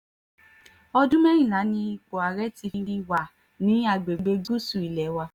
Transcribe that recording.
ọdún mẹ́rìnlá ni ipò ààrẹ ti fi wà ní àgbègbè gúúsù ilé wa